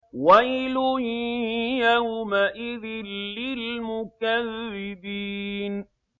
وَيْلٌ يَوْمَئِذٍ لِّلْمُكَذِّبِينَ